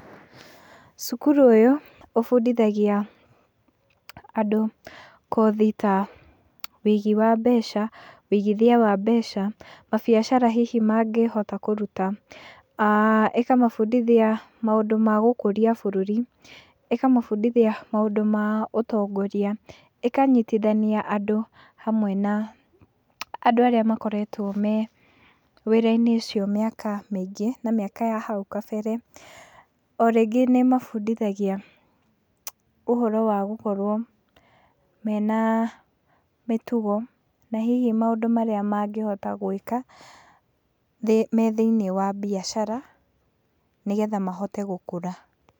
Cukuru ũyũ ũbundithagia andũ kothi ta ũigi wa mbeca, ũigithia wa mbeca, mabiacara hihi mangĩhota kũruta. Ĩkamabundithia maũndũ ma gũkũria bũrũri, ĩkamabundithia maũndũ ta ma ũtongoria, ĩkanyitithania andũ hamwe na andũ arĩa makoretwo me wĩra-inĩ ũcio mĩaka mĩingĩ na mĩaka ya na hau kabere. O rĩngĩ nĩmabundithagia ũhoro wa gũkorwo mena mĩtugo na hihi maũndũ marĩa mangĩhota gwĩka me thĩiniĩ wa biacara nĩgetha mahote gũkũra.